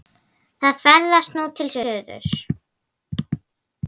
Það ferðast nú til suðurs.